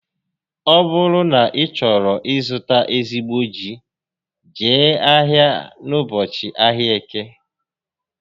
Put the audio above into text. Ọ bụrụ na ị chọọ ị zụta ezigbo ji, Jee ahia n'ụbọchị ahịa Eke